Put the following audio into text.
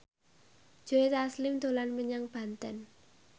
Joe Taslim dolan menyang Banten